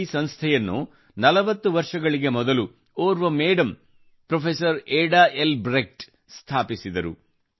ಈ ಸಂಸ್ಥೆಯನ್ನು 40 ವರ್ಷಗಳಿಗೆ ಮೊದಲು ಓರ್ವ madam professor Ada L Brecht ಅವರು ಸ್ಥಾಪಿಸಿದರು